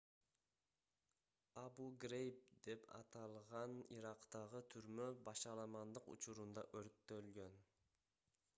абу-грейб деп аталган ирактагы түрмө башаламандык учурунда өрттөлгөн